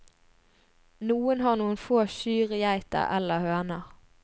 Noen har noen få kyr, geiter eller høner.